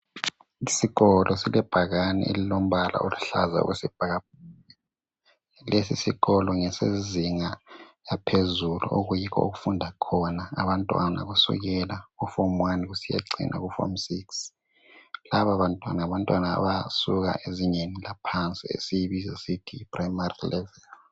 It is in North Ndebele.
Isikolo silebhakani elilombala oluhlaza okwesibhakabhaka. Lesi sikolo ngesezinga laphezulu okuyikho okufunda abantwana kusukela kufomu wani kusiya kufomu siksi. Laba bantwana ngabasuka ezingeni laphansi esilibiza sithi yiprayimari levuli.